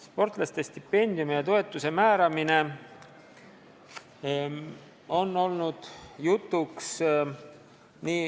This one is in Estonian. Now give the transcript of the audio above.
Sportlaste stipendiumi ja toetuse määramine on üldisel tasemel kaua jutuks olnud.